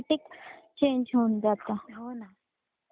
हो ना.